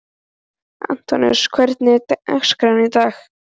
Antoníus, hvernig er dagskráin í dag?